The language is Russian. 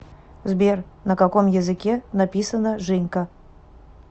сбер на каком языке написано женька